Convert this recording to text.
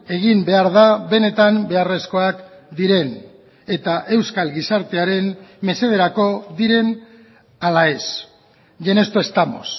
egin behar da benetan beharrezkoak diren eta euskal gizartearen mesederako diren ala ez y en esto estamos